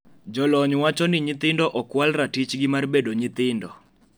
Jolony wacho ni nyithindo okwal ratichgi mar bedo nyitindo.